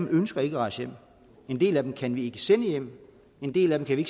ønsker at rejse hjem en del af dem kan vi ikke sende hjem en del af dem kan vi